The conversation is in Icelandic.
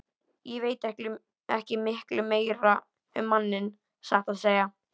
Ég veit ekki miklu meira um manninn, satt að segja.